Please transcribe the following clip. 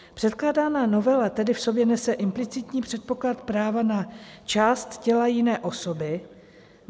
Předkládaná novela tedy v sobě nese implicitní předpoklad práva na část těla jiné osoby.